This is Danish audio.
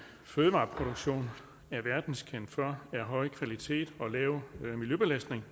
fødevareproduktion er verdenskendt for er høj kvalitet og lav miljøbelastning